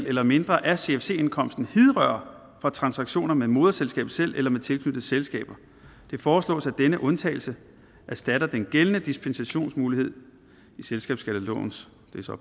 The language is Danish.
eller mindre af cfc indkomsten hidrører fra transaktioner med moderselskabet selv eller med tilknyttede selskaber det foreslås at denne undtagelse erstatter den gældende dispensationsmulighed i selskabsskattelovens